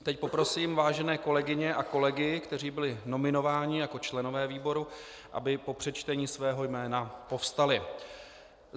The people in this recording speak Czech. Teď poprosím vážené kolegyně a kolegy, kteří byli nominováni jako členové výboru, aby po přečtení svého jména povstali.